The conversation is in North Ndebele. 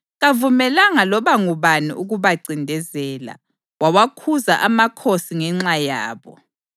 Kavumelanga loba ngubani ukubancindezela; wawakhuza amakhosi ngenxa yabo,